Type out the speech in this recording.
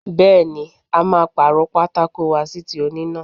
Bẹẹni, a máa paro pátákó wa sí ti oníná.